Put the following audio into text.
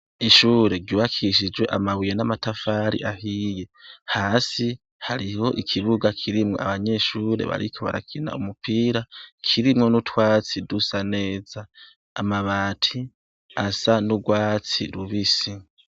Ishure ryubakishijwe amabuye n'amatafari ahiye, hasi hariho ikibuga kirimwo abanyeshure bariko barakina umupira, kirimwo n'utwatsi dusa neza, amabati asa n'urwatsi rubisi.